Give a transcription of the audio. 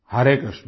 Hare Krishna